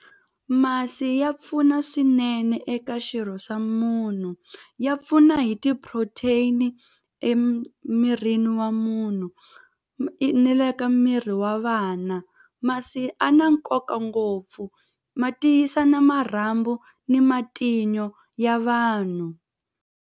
Masi ya pfuna swinene eka xirho xa munhu ya pfuna hi ti-protein emirini wa munhu ni le ka miri wa vana masi a na nkoka ngopfu ma tiyisa na marhambu ni matinyo ya vanhu.